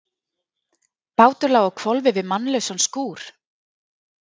Bátur lá á hvolfi við mannlausan skúr.